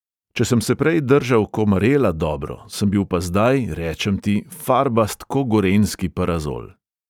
Če sem se prej držal ko marela dobro, sem bil pa zdaj, rečem ti, farbast ko gorenjski parazol.